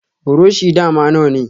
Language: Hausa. Buroshi dama nawane.